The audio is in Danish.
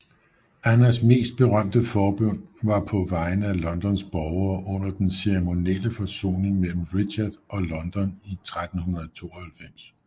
Annas mest berømte forbøn var på vegne af Londons borgere under den ceremonielle forsoning mellem Richard og London i 1392